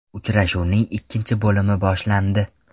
Uchrashuvning ikkinchi bo‘limi boshlandi.